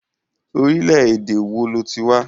Orílẹ̀ ède èwo lo ti wá.